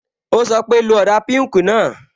Ó sọ pé, "lo ọ̀dà píùnkì náà"